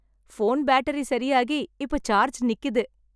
Phone battery சரியாகி இப்ப charge நிக்குது.